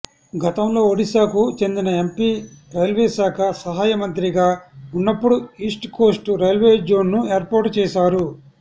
గతంలో ఒడిశాకు చెందిన ఎంపీ రైల్వేశాఖ సహాయ మంత్రిగా వున్నపుడు ఈస్టుకోస్టు రైల్వే జోన్ను ఏర్పాటు చేశారు